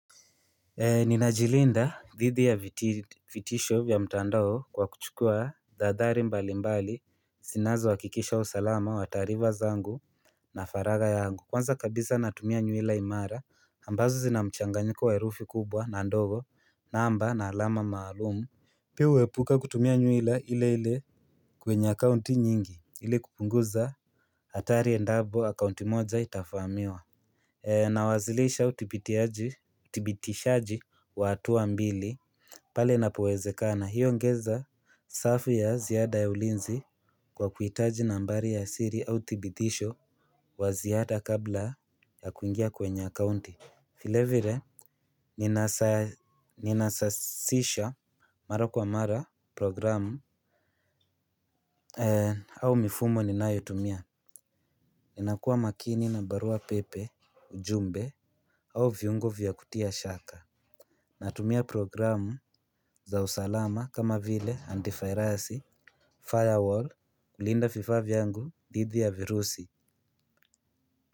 Nina jilinda dhidi ya vitisho vya mtandao kwa kuchukua dhadhari mbali mbali. Zinazohakikisha usalama wa taarifa zangu na faraga yangu kwanza kabisa natumia nywila imara ambazo zinamchanganyiko wa erufi kubwa na ndogo namba na alama maalumu pia uepuka kutumia nywila ile ile kwenye account nyingi ili kupunguza atari endapo account moja itafahamiwa. Na wazilisha utibitishaji wa atuwa mbili pale na powezeka na hiyo ongeza safi ya ziada ya ulinzi kwa kuitaji nambari ya siri au tibitisho wa ziyada kabla ya kuingia kwenye akounti vilevile ninasasisha mara kwa mara programu au mifumo ni nayotumia. Ninakuwa makini na barua pepe ujumbe au viungo vya kutia shaka. Natumia programu za usalama kama vile antifirasi firewall kulinda vifaa vyangu didhi ya virusi.